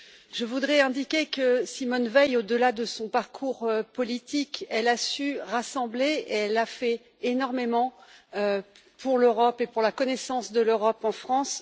Je voudrais indiquer que Simone Veil, au delà de son parcours politique, a su rassembler et a fait énormément pour l'Europe et pour la connaissance de l'Europe en France.